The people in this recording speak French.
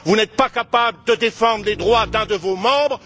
Vous n'êtes pas capables de défendre les droits d'un de vos membres.